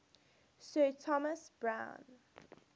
sir thomas browne